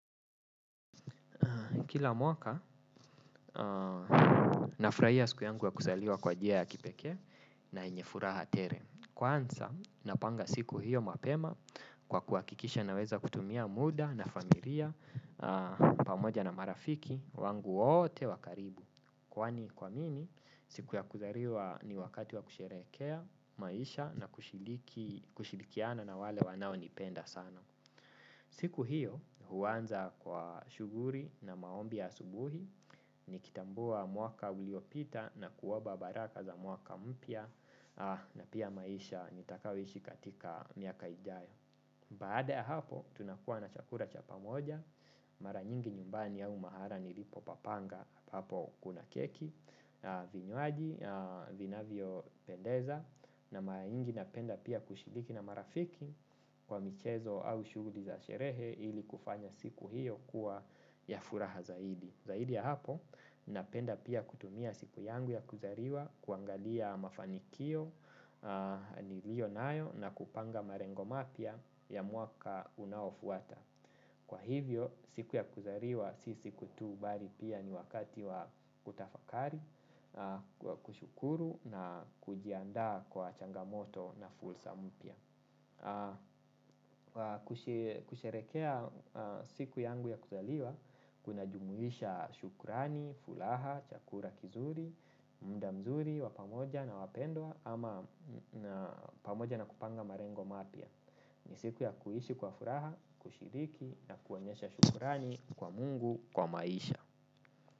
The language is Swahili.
Kila mwaka, nafurahia siku yangu ya kuzaliwa kwa njia ya kipekee na yenye furaha tele. Kwanza, napanga siku hiyo mapema kwa kuhakikisha naweza kutumia muda na familia pamoja na marafiki wangu wote wa karibu. Kwani kwa mimi, siku ya kuzaliwa ni wakati wa kusherehekea maisha na kushirikiana na wale wanaonipenda sana. Siku hiyo huanza kwa shughuli na maombi ya asubuhi nikitambua mwaka uliopita na kuomba baraka za mwaka mpya na pia maisha nitakayoishi katika miaka ijayo. Baada ya hapo tunakuwa na chakula cha pamoja, mara nyingi nyumbani au mahala nilipopapanga hapo kuna keki, vinywaji, vinavyopendeza na mara nyingi napenda pia kushiriki na marafiki kwa michezo au shughuli za sherehe ili kufanya siku hiyo kuwa ya furaha zaidi. Zaidi ya hapo, napenda pia kutumia siku yangu ya kuzaliwa, kuangalia mafanikio, nilionayo, na kupanga malengo mapya ya mwaka unaofuata. Kwa hivyo, siku ya kuzaliwa, si siku tu bali pia ni wakati wa kutafakari, kushukuru na kujiandaa kwa changamoto na fursa mpya. Kusherehekea siku yangu ya kuzaliwa kunajumuisha shukrani, furaha, chakula, kizuri, muda mzuri, wa pamoja na wapendwa ama pamoja na kupanga malengo mapya. Ni siku ya kuishi kwa furaha, kushiriki na kuonyesha shukrani kwa Mungu, kwa maisha.